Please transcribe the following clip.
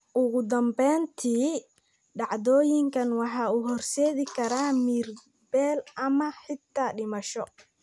Ugu dambeyntii, dhacdooyinkan waxay u horseedi karaan miyir-beel ama xitaa dhimasho.